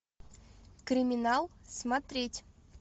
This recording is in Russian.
криминал смотреть